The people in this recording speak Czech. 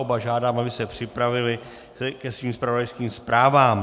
Oba žádám, aby se připravili ke svým zpravodajským zprávám.